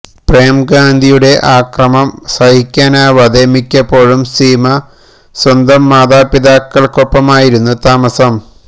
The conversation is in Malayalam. പ്രേം ഗാന്ധിയുടെ അക്രമം സഹിക്കാനാവാതെ മിക്കപ്പോഴും സീമ സ്വന്തം മാതാപിതാക്കൾക്കൊപ്പമായിരുന്നു താമസം